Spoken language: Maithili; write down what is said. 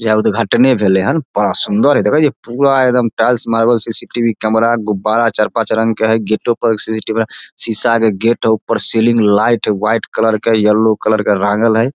यहाँ उद्घाटने भेलेे हन बड़ा सुंदर हेय देखे छी पूरा एकदम टाइल्स मार्बल्स सी.सी.टी.वी. कैमरा गुब्बारा चार पांच रंग के है गेटो पर सी.सी.टी.वी. कैमरा शीशा के गेट हेय ऊपर सीलिंग लाइट व्हाइट कलर के येलो कलर के रांगल हेय।